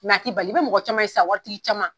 a t'i bali i bɛ mɔgɔ caman ye sisan waritgi caman.